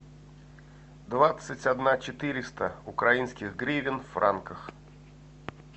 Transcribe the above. двадцать одна четыреста украинских гривен в франках